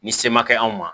Ni se ma kɛ anw ma